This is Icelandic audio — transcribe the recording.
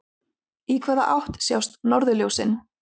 Í hvaða átt sjást norðurljósin?